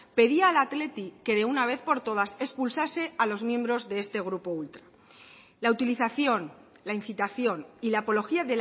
pedía al athletic que de una vez por todas expulsase a los miembros de este grupo ultra la utilización la incitación y la apología